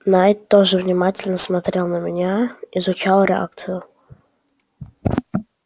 найд тоже внимательно смотрел на меня изучал реакцию